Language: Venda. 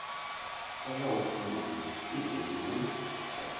o ḽaho funguvhu iṱeli u